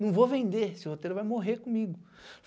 Não vou vender, esse roteiro vai morrer comigo.